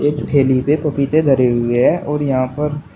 ठेली पर पपीते धरे हुए हैं और यहां पर--